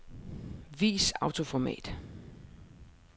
Vis autoformat.